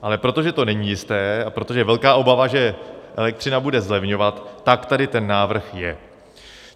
Ale protože to není jisté a protože je velká obava, že elektřina bude zlevňovat, tak tady ten návrh je.